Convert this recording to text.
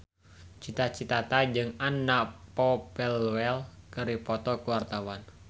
Cita Citata jeung Anna Popplewell keur dipoto ku wartawan